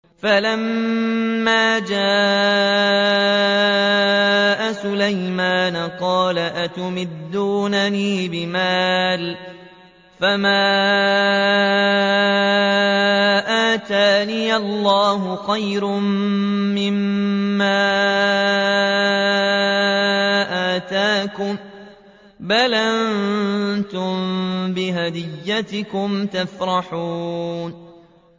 فَلَمَّا جَاءَ سُلَيْمَانَ قَالَ أَتُمِدُّونَنِ بِمَالٍ فَمَا آتَانِيَ اللَّهُ خَيْرٌ مِّمَّا آتَاكُم بَلْ أَنتُم بِهَدِيَّتِكُمْ تَفْرَحُونَ